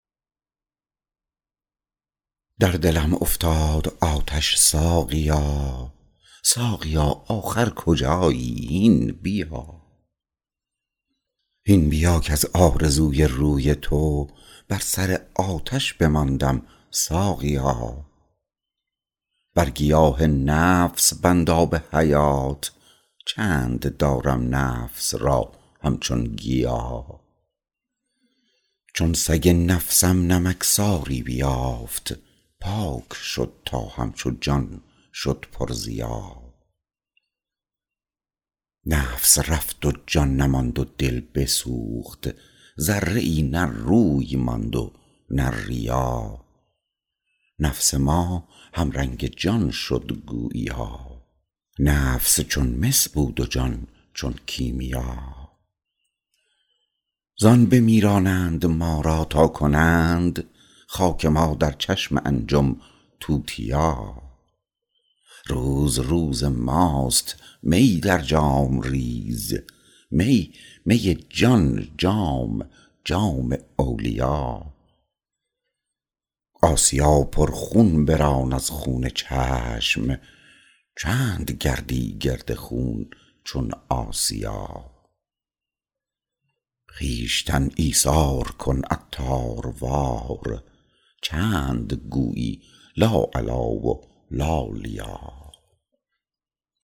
در دلم افتاد آتش ساقیا ساقیا آخر کجایی هین بیا هین بیا کز آرزوی روی تو بر سر آتش بماندم ساقیا بر گیاه نفس بند آب حیات چند دارم نفس را همچون گیا چون سگ نفسم نمکساری بیافت پاک شد تا همچو جان شد پر ضیا نفس رفت و جان نماند و دل بسوخت ذره ای نه روی ماند و نه ریا نفس ما هم رنگ جان شد گوییا نفس چون مس بود و جان چون کیمیا زان بمیرانند ما را تا کنند خاک ما در چشم انجم توتیا روز روز ماست می در جام ریز می می جان جام جام اولیا آسیا پر خون بران از خون چشم چند گردی گرد خون چون آسیا خویشتن ایثار کن عطار وار چند گویی لا علی و لا لیا